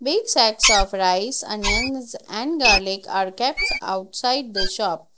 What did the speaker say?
Big sides of rice onions and garlic are kept outside the shop.